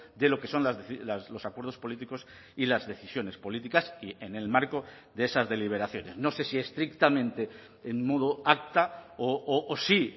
de lo que son los acuerdos políticos y las decisiones políticas y en el marco de esas deliberaciones no sé si estrictamente en modo acta o sí